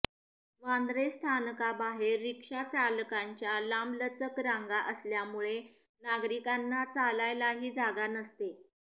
वांद्रे स्थानकाबाहेर रिक्षा चालकांच्या लांबलचक रांगा असल्यामुळे नागरिकांना चालायलाही जागा नसते